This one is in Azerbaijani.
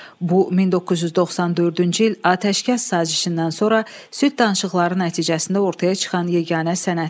Bu 1994-cü il atəşkəs sazişindən sonra sülh danışıqları nəticəsində ortaya çıxan yeganə sənəddir.